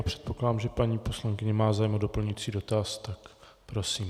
A předpokládám, že paní poslankyně má zájem o doplňující dotaz, tak prosím.